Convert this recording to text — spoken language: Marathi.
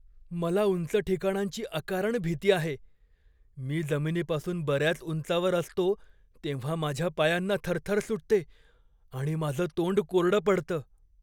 मला उंच ठिकाणांची अकारण भीती आहे. मी जमिनीपासून बऱ्याच उंचावर असतो तेव्हा माझ्या पायांना थरथर सुटते आणि माझं तोंड कोरडं पडतं.